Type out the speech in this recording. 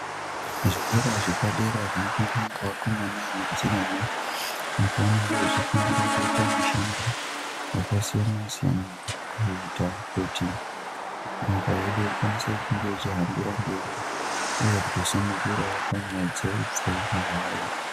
Zvikora zvepadera zvinofundwa ngevakomana nevasikana, nepavanenge vefundira kuita mushando yakasiyana -siyana, kuita kuti nyika yedu ikwanise kunge ichihambira mberi, uye itosimukirawo panyaya dzehupfumi hwayo.